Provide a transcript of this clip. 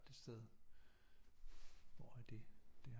Det sted hvor er det det